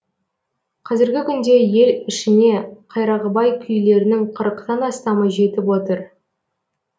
қазіргі күнде ел ішіне қайрақбай күйлерінің қырықтан астамы жетіп отыр